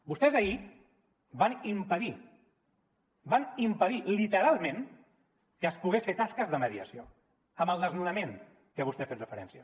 vostès ahir van impedir van impedir literalment que es poguessin fer tasques de mediació amb el desnonament a què vostè ha fet referència